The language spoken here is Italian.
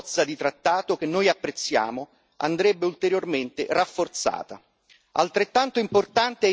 Sotto questo aspetto la bozza di trattato, che noi apprezziamo, andrebbe ulteriormente rafforzata.